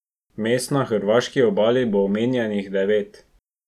Mest na hrvaški obali bo omenjenih devet.